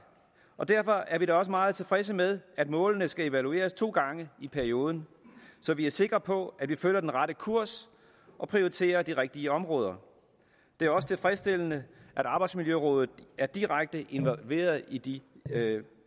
og derfor er vi da også meget tilfredse med at målene skal evalueres to gange i perioden så vi er sikre på at vi følger den rette kurs og prioriterer de rigtige områder det er også tilfredsstillende at arbejdsmiljørådet er direkte involveret i de